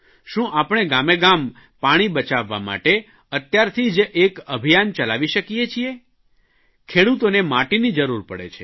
શું આપણે ગામેગામ પાણી બચાવવા માટે અત્યારથી જ એક અભિયાન ચલાવી શકીએ છીએ ખેડૂતોને માટીની જરૂર પડે છે